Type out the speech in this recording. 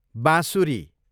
बाँसुरी